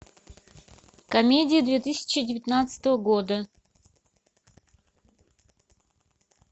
комедии две тысячи девятнадцатого года